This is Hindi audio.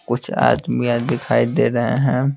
कुछ आदमियां दिखाई दे रहे हैं।